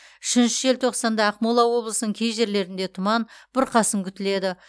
үшінші желтоқсанда ақмола облысының кей жерлерінде тұман бұрқасын күтіледі